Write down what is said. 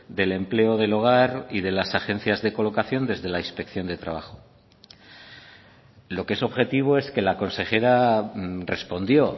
del empleo del hogar y de las agencias de colocación desde la inspección de trabajo lo que es objetivo es que la consejera respondió